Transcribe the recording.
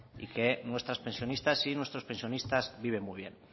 y que nuestras pensionistas y nuestros pensionistas viven muy bien